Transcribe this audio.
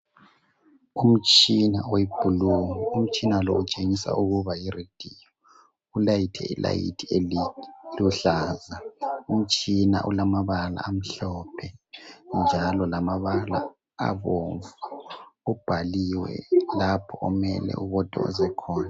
Umtshina webhulu. Umtshina lo utshengisa ukuba yirediyo. Ulayithe ilayithi eliluhlaza. Umtshina ulamabala amhlophe njalo lamabala abomvu. Ubhaliwe lapho omele ubotoze khona.